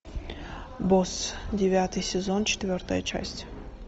босс девятый сезон четвертая часть